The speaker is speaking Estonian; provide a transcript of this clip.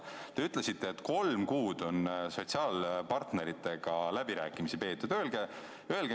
Te ütlesite, et kolm kuud on sotsiaalpartneritega läbirääkimisi peetud.